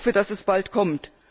Ich hoffe, dass es bald kommt.